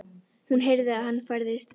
Hún heyrði að hann færðist nær.